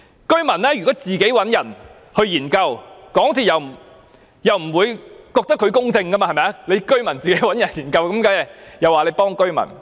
居民如果自行找人進行研究，港鐵公司也不會接受這是公正的做法，認為會偏幫居民。